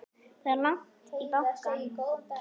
Það er langt í bankann!